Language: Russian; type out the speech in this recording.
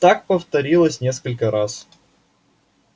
так повторилось несколько раз